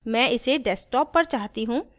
मैं इसे desktop पर चाहती हूँ